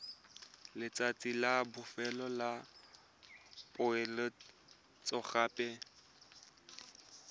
letsatsi la bofelo la poeletsogape